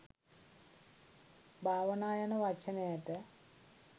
භාවනා යන වචනයට